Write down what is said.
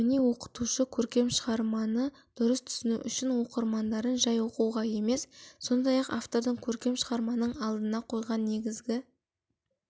міне оқытушы көркем шығарманы дұрыс түсіну үшін оқырмандарын жай оқуға емес сондай-ақ автордың көркем шығарманың алдына қойған негізгі